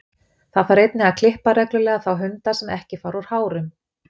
Það þarf einnig að klippa reglulega þá hunda sem ekki fara úr hárum.